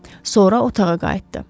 Sonra otağa qayıtdı.